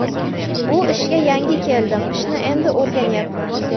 Bu ishga yangi keldim, ishni endi o‘rganyapman.